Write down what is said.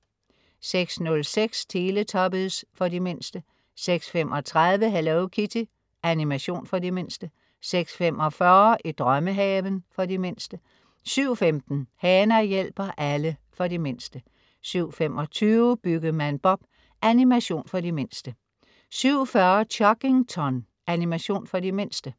06.06 Teletubbies. For de mindste 06.35 Hello Kitty. Animation for de mindste 06.45 I drømmehaven. For de mindste 07.15 Hana hjælper alle. For de mindste 07.25 Byggemand Bob. Animation for de mindste 07.40 Chuggington. Animation for de mindste